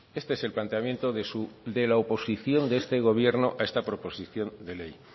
este es el planteamiento de su de la oposición de este gobierno a esta proposición de ley